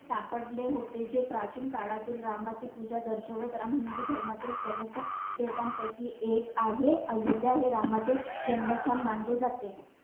सापडले होते. जे प्राचीन काळातील रामाची पुजा दर्शवत राम हिंदू धर्मातील प्रमुख देवतांपैकी एक आहे. अयोध्या हे रामाचे जन्मस्थान मानले जाते.